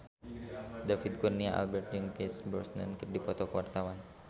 David Kurnia Albert jeung Pierce Brosnan keur dipoto ku wartawan